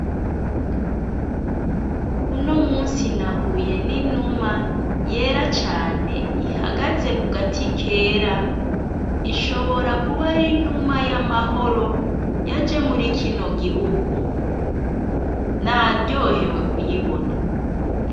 Unomusi nahuye n'inuma yera cane ihagaze kugati kera ishobora kuba ari inuma y'amahoro yaje muri kino gihugu naryohewe kuyibona.